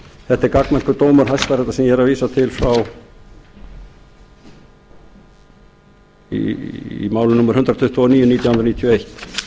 þetta er gagnmerkur dómur hæstaréttar sem ég er að vísa til í máli númer hundrað tuttugu og níu nítján hundruð níutíu og eitt